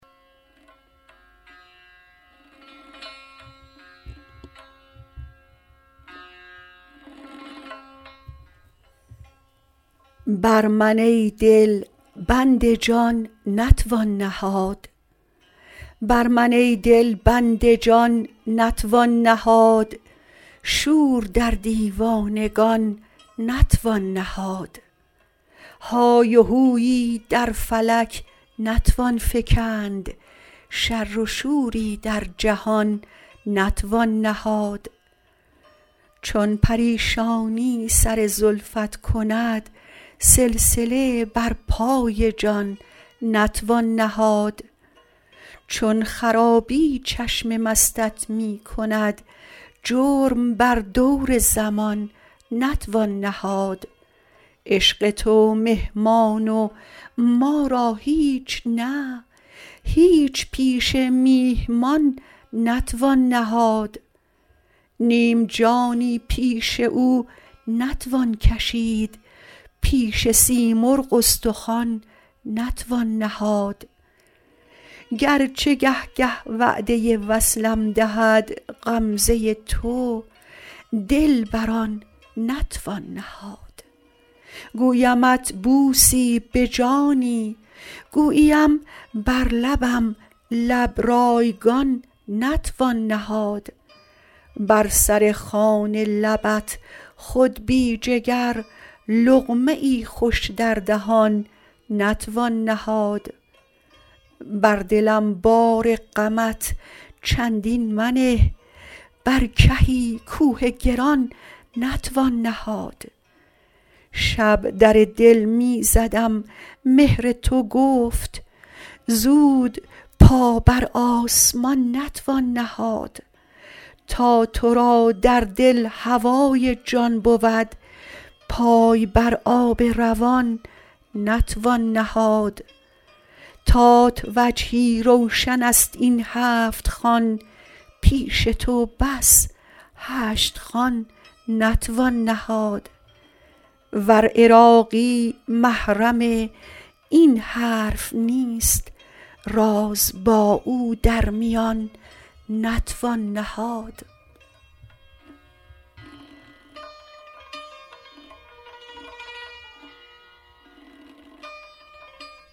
بر من ای دل بند جان نتوان نهاد شور در دیوانگان نتوان نهاد های و هویی در فلک نتوان فکند شر و شوری در جهان نتوان نهاد چون پریشانی سر زلفت کند سلسله بر پای جان نتوان نهاد چون خرابی چشم مستت می کند جرم بر دور زمان نتوان نهاد عشق تو مهمان و ما را هیچ نه هیچ پیش میهمان نتوان نهاد نیم جانی پیش او نتوان کشید پیش سیمرغ استخوان نتوان نهاد گرچه گه گه وعده وصلم دهد غمزه تو دل بر آن نتوان نهاد گویمت بوسی به جانی گوییم بر لبم لب رایگان نتوان نهاد بر سر خوان لبت خود بی جگر لقمه ای خوش در دهان نتوان نهاد بر دلم بار غمت چندین منه برکهی کوه گران نتوان نهاد شب در دل می زدم مهر تو گفت زود پابر آسمان نتوان نهاد تا تو را در دل هوای جان بود پای بر آب روان نتوان نهاد تات وجهی روشن است این هفت خوان پیش تو بس هشت خوان نتوان نهاد ور عراقی محرم این حرف نیست راز با او در میان نتوان نهاد